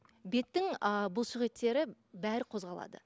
беттің ы бұлшық еттері бәрі қозғалады